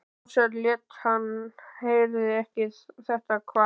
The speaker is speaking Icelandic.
Ársæll lét sem hann heyrði ekki þetta kvak.